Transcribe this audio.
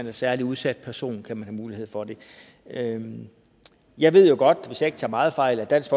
en særlig udsat person kan man mulighed for at have den jeg ved jo godt hvis jeg ikke tager meget fejl at dansk